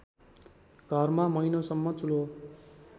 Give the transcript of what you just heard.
घरमा महिनौसम्म चुल्हो